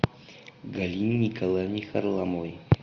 галине николаевне харламовой